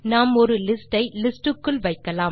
நாம் ஒரு லிஸ்ட் ஐlist க்குள் வைக்கலாம்